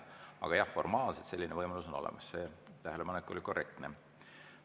Aga jah, formaalselt selline võimalus on olemas, see tähelepanek oli korrektne.